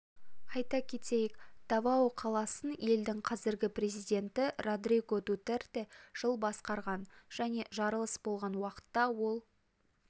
айта кетейік давао қаласын елдің қазіргі президенті родриго дутерте жыл басқарған және жарылыс болған уақытта ол